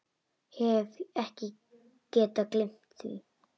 Hef ekki getað gleymt því.